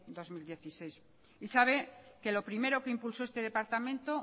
dos mil dieciséis y sabe que lo primero que impulsó este departamento